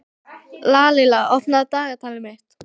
Lalíla, opnaðu dagatalið mitt.